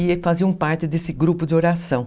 E fazia parte desse grupo de oração.